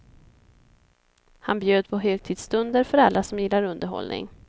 Han bjöd på högtidsstunder för alla som gillar underhållning.